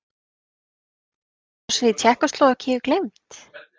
Innrásin í Tékkóslóvakíu gleymd?